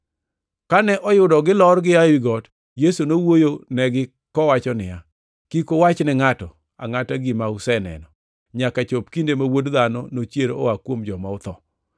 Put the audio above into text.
Kane oyudo gilor gia ewi got, Yesu nowuoyo negi kowacho niya, “Kik uwach ne ngʼato angʼata gima useneno, nyaka chop kinde ma Wuod Dhano nochier koa kuom joma otho.”